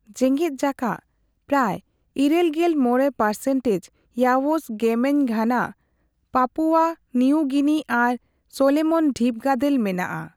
ᱡᱮᱜᱮᱫᱡᱟᱠᱟᱛ, ᱯᱨᱟᱭ ᱤᱨᱟᱹᱞᱜᱮᱞ ᱢᱚᱲᱮ ᱯᱟᱨᱥᱮᱱᱴᱮᱡᱽ ᱤᱭᱟᱳᱥ ᱜᱮᱢᱮᱧ ᱜᱷᱟᱱᱟ, ᱯᱟᱯᱩᱣᱟ ᱱᱤᱭᱩ ᱜᱤᱱᱤ ᱟᱨ ᱥᱚᱞᱳᱢᱚᱱ ᱰᱷᱤᱯᱜᱟᱫᱮᱞ ᱢᱮᱱᱟᱜᱼᱟ ᱾